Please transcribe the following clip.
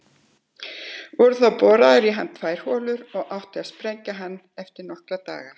Voru þá boraðar í hann tvær holur og átti að sprengja hann eftir nokkra daga.